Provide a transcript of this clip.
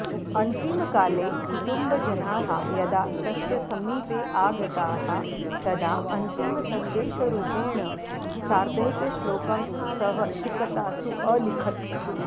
अन्तिमकाले कुटुम्बजनाः यदा तस्य समीपे आगताः तदा अन्तिमसन्देशरूपेण सार्धैकश्लोकं सः सिकतासु अलिखत्